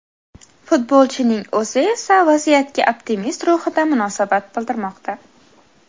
Futbolchining o‘zi esa vaziyatga optimist ruhida munosabat bildirmoqda.